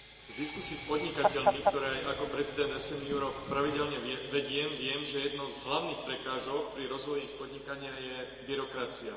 Z diskusií z podnikateľmi, ktoré aj ako prezident SM Europe pravidelne vediem, viem, že jednou z hlavných prekážok pri rozvoji ich podnikania je byrokracia.